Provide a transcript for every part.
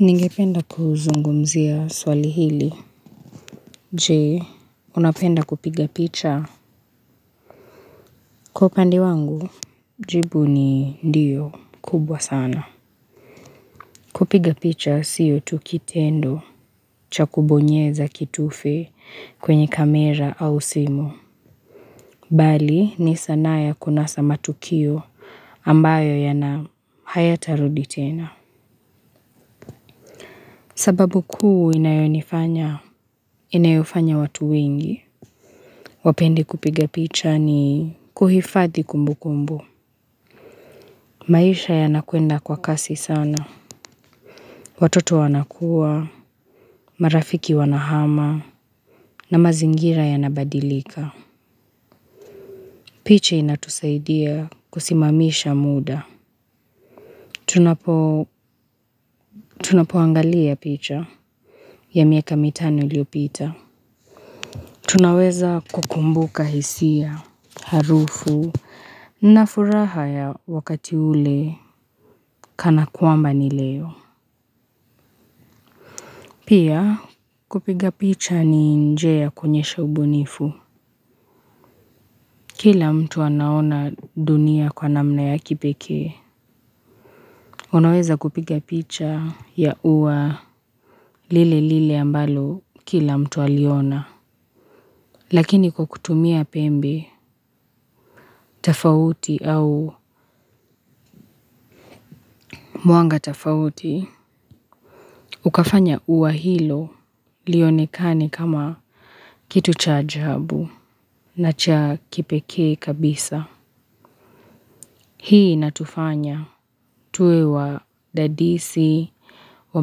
Ningependa kuzungumzia swali hili. Je, unapenda kupiga picha? Kwa upande wangu, jibu ni ndio, kubwa sana. Kupiga picha sio tu kitendo, cha kubonyeza kitufe kwenye kamera au simu. Bali, ni sanaa ya kunasa matukio ambayo hayatarudi tena. Sababu kuu inayonifanya, inayofanya watu wengi wapende kupiga picha ni kuhifadhi kumbu kumbu. Maisha yanakwenda kwa kasi sana. Watoto wanakua, marafiki wanahama, na mazingira yanabadilika. Picha inatusaidia kusimamisha muda. Tunapo tunapoangalia picha. Ya miaka mitano iliyopita, tunaweza kukumbuka hisia, harufu, na furaha ya wakati ule kana kwamba ni leo. Pia, kupiga picha ni njia ya kuonyesha ubunifu. Kila mtu anaona dunia kwa namna ya kipekee. Unaweza kupiga picha ya ua lile lile ambalo kila mtu aliona. Lakini kukutumia pembe, tofauti au mwanga tofauti, ukafanya ua hilo lionekane kama kitu cha ajabu na cha kipekee kabisa. Hii inatufanya tuwe wadadisi wa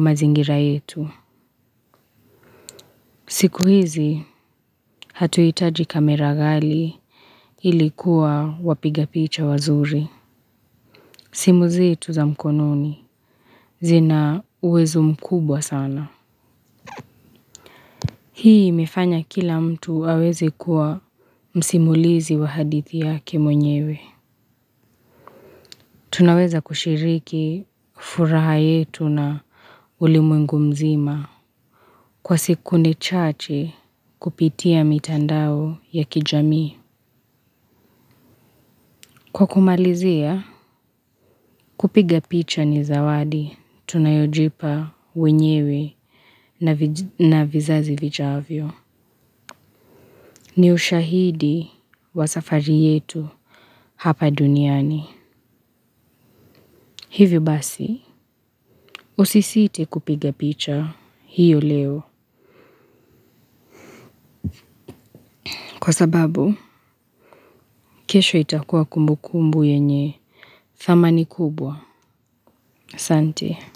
mazingira yetu. Siku hizi hatuhitaji kamera ghali ili kuwa wapigapicha wazuri. Simu zetu za mkono ni, zina uwezo mkubwa sana. Hii imefanya kila mtu aweze kuwa msimulizi wa hadithi yake mwenyewe. Tunaweza kushiriki furaha yetu na ulimwengu mzima. Kwa sekunde chache kupitia mitandao ya kijamii. Kwa kumalizia, kupiga picha ni zawadi tunayojipa wenyewe na vizazi vijavyo. Ni ushahidi wa safari yetu hapa duniani. Hivyo basi, usisite kupiga picha hiyo leo. Kwa sababu, kesho itakuwa kumbu kumbu yenye thamani kubwa. ASante.